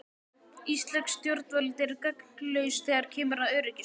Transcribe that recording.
Íslensk stjórnvöld er gagnslaus þegar kemur að öryggismálum.